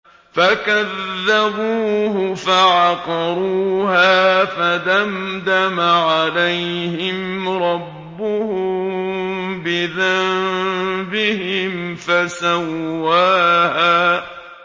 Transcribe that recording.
فَكَذَّبُوهُ فَعَقَرُوهَا فَدَمْدَمَ عَلَيْهِمْ رَبُّهُم بِذَنبِهِمْ فَسَوَّاهَا